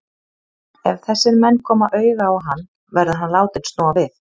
Ef þessir menn koma auga á hann, verður hann látinn snúa við.